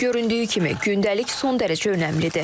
Göründüyü kimi, gündəlik son dərəcə önəmlidir.